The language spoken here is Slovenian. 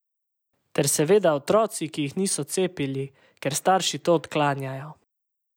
Ter seveda otroci, ki jih niso cepili, ker starši to odklanjajo.